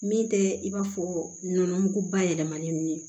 Min tɛ i b'a fɔ nɔnɔ mugu bayɛlɛmalen ninnu